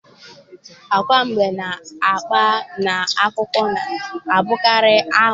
Agwa mbe na-akpa n'akụkọ na-abụkarị aghụghọ.